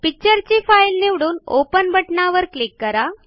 picture ची file निवडून open बटणावर क्लिक करा